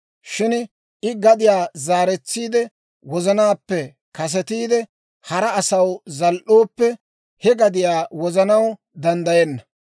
Shin I gadiyaa zaaretsiide, wozanaappe kasetiide hara asaw zal"ooppe, he gadiyaa wozanaw danddayenna.